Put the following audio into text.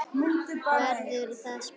Verður það spilað í kvöld?